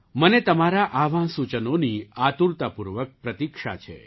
મને તમારા આવાં સૂચનોની આતુરતાપૂર્વક પ્રતીક્ષા છે